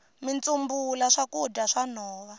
mitsumbula i swakudya swa nhova